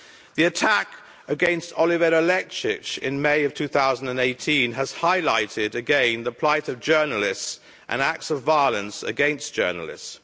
The attack against Olivera Lakić in May of 2018 has highlighted again the plight of journalists and acts of violence against journalists.